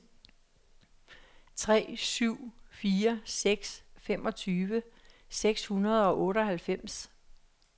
tre syv fire seks femogtyve seks hundrede og otteoghalvfems